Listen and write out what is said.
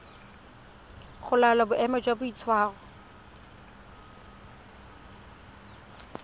go laola boemo jwa boitshwaro